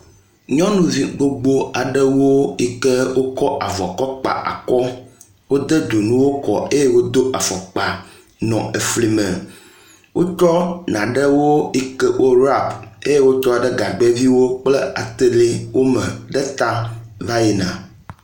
Nyɔnuvi gbogbo aɖewo yike wokɔ avɔ kɔ kpa akɔ, eye wodo afɔkpa nɔ efli me. Wotsɔ nanewo yike worap eye wotsɔ ɖe gagbeviwo kple atelewo me ɖe ta va yina.